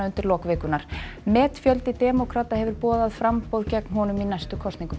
undir lok vikunnar metfjöldi demókrata hefur boðað framboð gegn honum í næstu kosningum